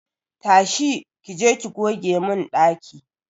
Tashi!ki je ki goge mun daki!